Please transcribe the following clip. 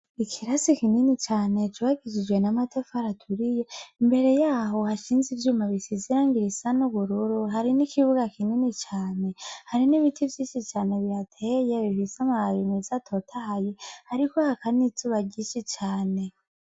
Ikirasi kinini cane cubakishijwe namatafari aturiye, imbere yaho hashinze ivyuma bisesangiye bisa nubururu, hari nibiti vyinshi cane bihateye bifise amababi meza atotahaye hariko haka n'izuba ryinshi cane.